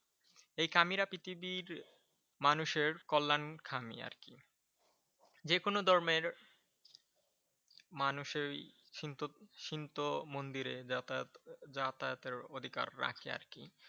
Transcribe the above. এই কামিরা পৃথিবীর মানুষের কল্যাণকামী আরকি যেকোনো ধর্মের মানুষই সিন্ত সিন্ত মন্দিরে যাতায়াত যাতায়াতের অধিকার রাখে আর কি।